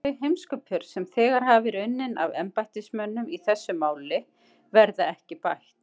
Þau heimskupör, sem þegar hafa verið unnin af embættismönnum í þessu máli, verða ekki bætt.